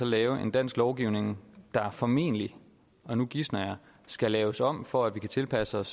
lave en dansk lovgivning der formentlig og nu gisner jeg skal laves om for at vi kan tilpasse os